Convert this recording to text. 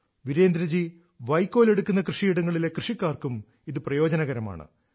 വീരേന്ദ്രജീ വൈക്കോൽ എടുക്കുന്ന കൃഷിയിടങ്ങളിലെ കൃഷിക്കാർക്കും ഇത് പ്രയോജനകരമാണ്